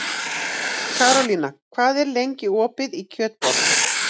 Karólína, hvað er lengi opið í Kjötborg?